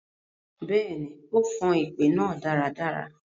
Bẹẹni, o fan ipè naa daradara.